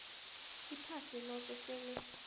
iphasi loke sele